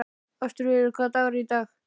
Ástfríður, hvaða dagur er í dag?